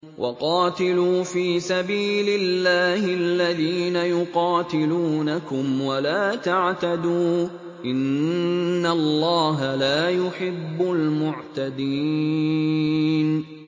وَقَاتِلُوا فِي سَبِيلِ اللَّهِ الَّذِينَ يُقَاتِلُونَكُمْ وَلَا تَعْتَدُوا ۚ إِنَّ اللَّهَ لَا يُحِبُّ الْمُعْتَدِينَ